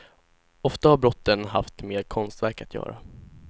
Ofta har brotten haft med konstverk att göra.